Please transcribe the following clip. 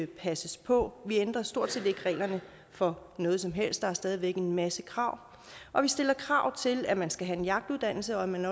passes på vi ændrer stort set ikke reglerne for noget som helst der er stadig væk en masse krav og vi stiller krav til at man skal have en jagtuddannelse og at man